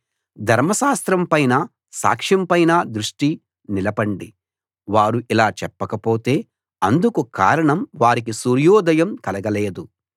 ధర్మశాస్త్రం పైనా సాక్ష్యం పైనా దృష్టి నిలపండి వారు ఇలా చెప్పక పోతే అందుకు కారణం వారికి సూర్యోదయం కలగలేదు